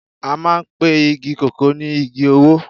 a maan pe Igi koko ni Igi owo